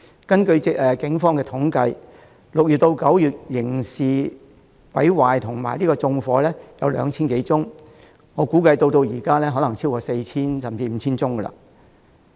根據警方統計 ，6 月至9月有 2,000 多宗刑事毀壞和縱火個案，至今我估計個案已超過 4,000 宗甚至 5,000 宗。